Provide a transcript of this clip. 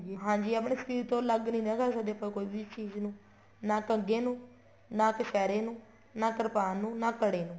ਹਾਂਜੀ ਆਪਣੇ ਸ਼ਰੀਰ ਤੋਂ ਅਲੱਗ ਨਹੀਂ ਨਾ ਕਰ ਸਕਦੇ ਆਪਾਂ ਕੋਈ ਵੀ ਚੀਜ਼ ਨੂੰ ਨਾ ਕੰਗੇ ਨੂੰ ਨਾ ਕਛਹਿਰੇ ਨੂੰ ਨਾ ਕਰਪਾਨ ਨੂੰ ਨਾ ਕੜੇ ਨੂੰ